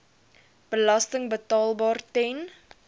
belasting betaalbaar ten